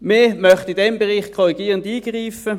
Wir möchten in diesem Bereich korrigierend eingreifen.